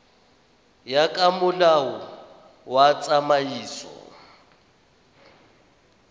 ya ka molao wa tsamaiso